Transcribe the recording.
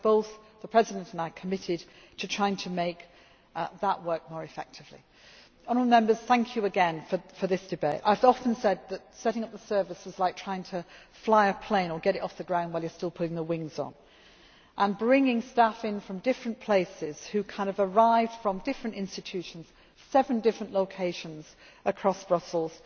and do that. We are both, the President and I, committed to trying to make that work more effectively. Thank you again for this debate. I have often said that setting up the service was like trying fly a plane or get it off the ground while you are still putting the wings on bringing staff in from different places who arrived from different institutions, seven different locations